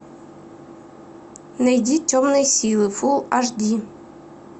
найди темные силы фул аш ди